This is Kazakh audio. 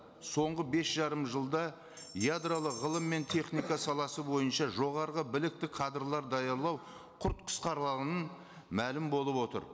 соңғы бес жарым жылда ядролық ғылым мен техника саласы бойынша жоғарғы білікті кадрлар даярлау құрт мәлім болып отыр